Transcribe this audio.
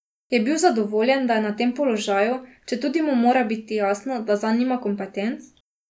Je bil zadovoljen, da je na tem položaju, četudi mu mora biti jasno, da zanj nima kompetenc?